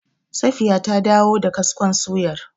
Safiya ta dawo da kaskon suyar.